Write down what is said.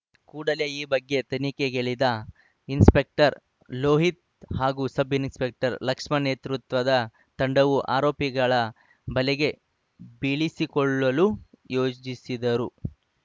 ಕೂಡಲೇ ಈ ಬಗ್ಗೆ ತನಿಖೆಗಿಳಿದ ಇನ್ಸ್‌ಪೆಕ್ಟರ್‌ ಲೋಹಿತ್‌ ಹಾಗೂ ಸಬ್‌ ಇನ್ಸ್‌ಪೆಕ್ಟರ್‌ ಲಕ್ಷ್ಮಣ್‌ ನೇತೃತ್ವದ ತಂಡವು ಆರೋಪಿಗಳ ಬಲೆಗೆ ಬೀಳಿಸಿಕೊಳ್ಳಲು ಯೋಜಿಸಿದ್ದರು